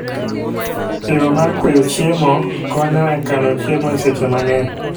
Yoo mar kweyo chiemo konyo e kano chiemo e seche mang'eny